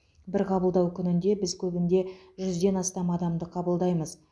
бір қабылдау күнінде біз көбінде жүзден астам адамды қабылдаймыз